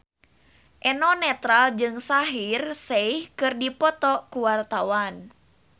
Eno Netral jeung Shaheer Sheikh keur dipoto ku wartawan